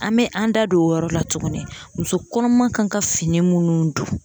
An bɛ an da don o yɔrɔ la tuguni muso kɔnɔma kan ka fini minnu dun